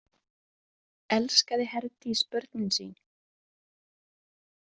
Elskaði Herdís börnin sín?